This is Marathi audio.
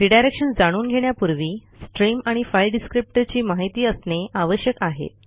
रिडायरेक्शन जाणून घेण्यापूर्वी स्ट्रीम आणि फाइल डिस्क्रिप्टर ची माहिती असणे आवश्यक आहे